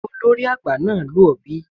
Njẹ olori agba naa lu ọ bi?